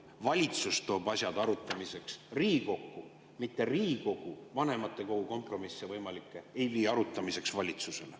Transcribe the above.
Valitsus toob asjad arutamiseks Riigikokku, mitte Riigikogu vanematekogu ei vii võimalikke kompromisse arutamiseks valitsusele.